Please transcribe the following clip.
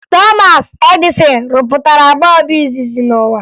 Thomas Edison rụpụtara bọọbụ izizi n'ụwa